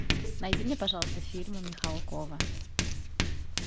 найди мне пожалуйста фильмы михалкова